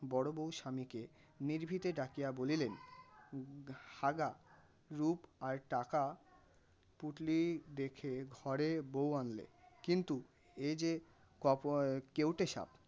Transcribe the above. বড় বউ স্বামীকে নিভৃতে ডাকিয়া বলিলেন হ্যাঁ গা রূপ আর টাকার পুঁটলি দেখে ঘরে বউ আনলে কিন্তু এ যে ~ কেউটে সাপ.